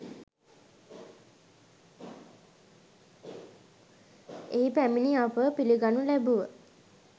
එහි පැමිණි අපව පිළිගනු ලැබුව